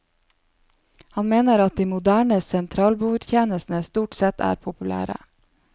Han mener at de moderne sentralbordtjenestene stort sett er populære.